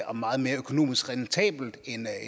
og meget mere økonomisk rentabelt